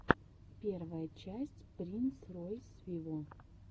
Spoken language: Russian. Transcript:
первая часть принс ройс виво